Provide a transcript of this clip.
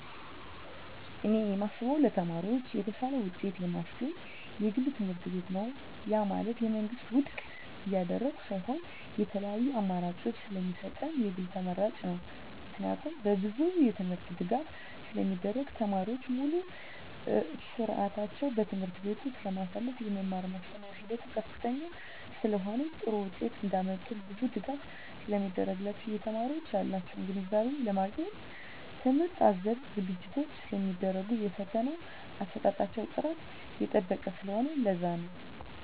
እኔ የማስበው ለተማሪዎች የተሻለ ውጤት የማስገኝ የግል ትምህርትቤት ነው ያ ማለት የመንግስትን ውድቅ እያደረኩ ሳይሆን የተለያዪ አማራጭ ስለሚሰጠን የግል ተመራጭ ነው። ምክንያቱም በብዙ የትምህርት ድጋፍ ስለሚደረግ , ተማሪዎች ሙሉ ስዕታቸውን በትምህርት ቤቱ ስለማሳልፋ , የመማር ማስተማር ሂደቱ ከፍተኛ ስለሆነ ጥሩ ውጤት እንዳመጡ ብዙ ድጋፍ ስለሚደረግላቸው , የተማሪዎች ያላቸውን ግንዛቤ ለማግኘት ትምህርት አዘል ዝግጅቶች ስለሚደረጉ የፈተና አሰጣጣቸው ጥራቱን የጠበቀ ስለሆነ ለዛ ነው